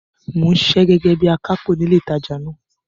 Mò ń ṣiṣẹ́ gẹ́gẹ́ bí akápò ní ilé ìtajà náà.